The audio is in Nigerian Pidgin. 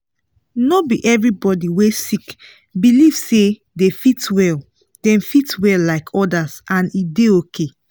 no be everybody wey sick believe say dem fit well dem fit well like others and e dey okay